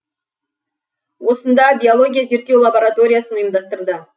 осында биология зерттеу лабораториясын ұйымдастырды